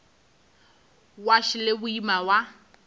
wa š le boima wa